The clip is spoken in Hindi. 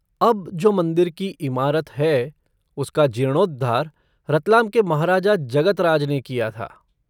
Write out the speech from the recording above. अब जो मंदिर की इमारत है, उसका जीर्णोद्धार रतलाम के महाराजा जगत राज ने किया था।